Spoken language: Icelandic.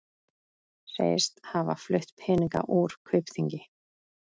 Segist hafa flutt peninga úr Kaupþingi